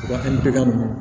Wa kelen pe